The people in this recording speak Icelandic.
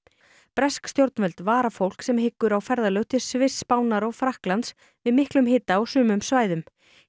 bresk stjórnvöld vara fólk sem hyggur á ferðalög til Sviss Spánar og Frakklands við miklum hita á sumum svæðum